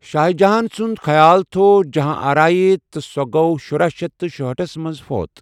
شاہ جہاں سُند خیال تھوو جہاں آرایہ تہٕ سوٗ گوٚ شُراہ شیتھ تہٕ شُہأٹھس منٛز فوت ۔